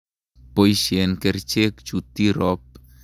Poisyen kerichek chu Tirop.